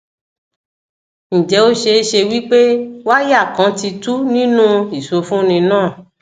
nje o seese wipe wire kan ti tu ninu isofunni na